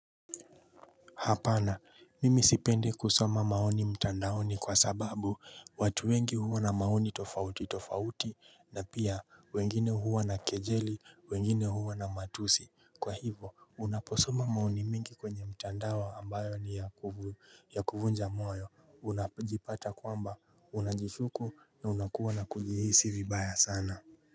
Hapana mimi sipendi kusoma maoni mtandaoni kwa sababu watu wengi huwa na maoni tofauti tofauti na pia wengine huwa na kejeli wengine huwa na matusi kwa hivo unaposoma maoni mingi kwenye mtandao ambayo ni ya ya kuvunja moyo unajipata kwamba unajishuku na unakuwa na kujihisi vibaya sana.